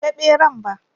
Ban ga ɓeran ba